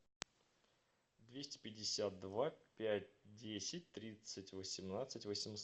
двести пятьдесят два пять десять тридцать восемнадцать